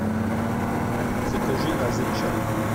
закажи азерчай